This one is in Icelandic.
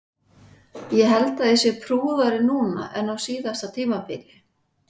Ég held að ég sé prúðari núna en á síðasta tímabili.